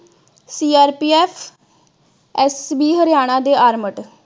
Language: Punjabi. CRPF ਹਰਿਆਣਾ ਦੇ ਆਰਮਡ